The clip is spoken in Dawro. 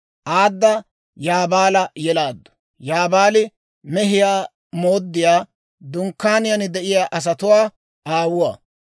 Aada Yaabaala yelaaddu; Yaabaali mehiyaa mooddiyaa, dunkkaaniyaan de'iyaa asatuwaa aawuwaa.